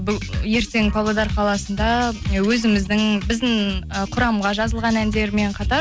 ертең павлодар қаласында өзіміздің біздің і құрамға жазылған әндермен қатар